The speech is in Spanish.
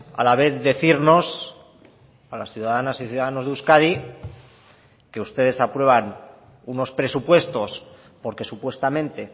a la vez decirnos a las ciudadanas y ciudadanos de euskadi que ustedes aprueban unos presupuestos porque supuestamente